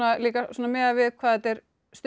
svona miðað við hvað þetta er stutt